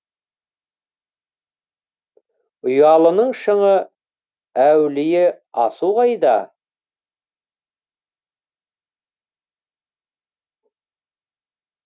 ұялының шыңы әулие асу қайда